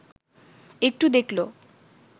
একটু দেখল